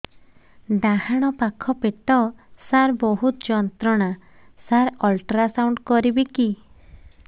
ଡାହାଣ ପାଖ ପେଟ ସାର ବହୁତ ଯନ୍ତ୍ରଣା ସାର ଅଲଟ୍ରାସାଉଣ୍ଡ କରିବି କି